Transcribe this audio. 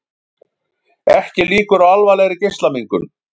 Ekki líkur á alvarlegri geislamengun